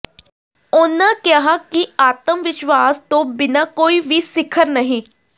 ਉਨ੍ਹਾਂ ਕਿਹਾ ਕਿ ਆਤਮ ਵਿਸ਼ਵਾਸ ਤੋਂ ਬਿਨਾਂ ਕੋਈ ਵੀ ਸਿਖਰ ਨਹੀਂ